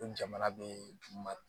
Ko jamana bɛ duguma